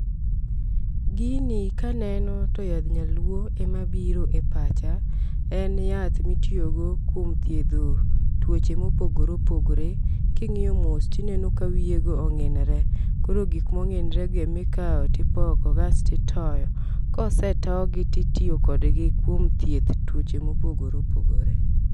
Gini kaneno to yadh nyaluo ema biro e pacha, en yath mitiyo go kuom thiedho tuoche mopogore opogore. King'iyo mos tineno ka wiye go ong'inre, koro gik mong'inore gi e mikawo tipoko kasti toyo. Kosetogi titiyo kodgi kuom thieth tuoche mopogore opogpore.